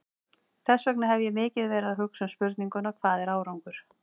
Þess vegna hef ég mikið verið að hugsa um spurninguna, hvað er árangur?